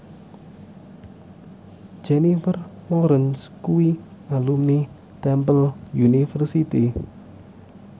Jennifer Lawrence kuwi alumni Temple University